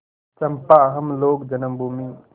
चंपा हम लोग जन्मभूमि